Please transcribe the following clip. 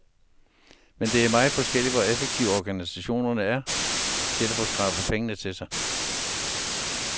Men det er meget forskelligt, hvor effektive organisationerne er til at få skrabet penge til sig.